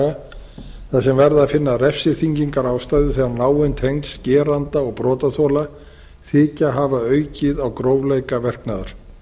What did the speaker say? almennra hegningarlaga þar sem verði að finna refsiþyngingarástæðu þegar náin tengsl geranda og brotaþola þykja hafa aukið á grófleika verknaðar